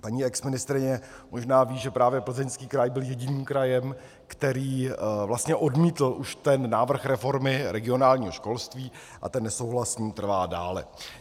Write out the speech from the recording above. Paní exministryně možná ví, že právě Plzeňský kraj byl jediným krajem, který vlastně odmítl už ten návrh reformy regionálního školství, a ten nesouhlas s ní trvá dále.